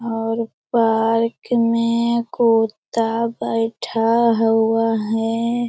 और पार्क में कूऊउत्तत्ता बइठा हुआ है।